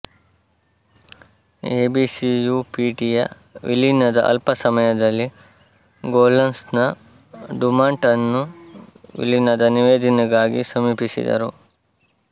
ಎಬಿಸಿಯುಪಿಟಿಯ ವಿಲೀನದ ಅಲ್ಪ ಸಮಯದಲ್ಲೇ ಗೋಲ್ಡನ್ಸನ್ ಡುಮಾಂಟ್ ಅನ್ನು ವಿಲೀನದ ನಿವೇದನೆಗಾಗಿ ಸಮೀಪಿಸಿದರು